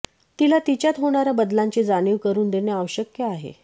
तिला तिच्यात होणाऱ्या बदलांची जाणीव करून देणे आवश्यक आहे